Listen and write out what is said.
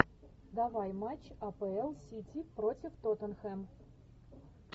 давай матч апл сити против тоттенхэм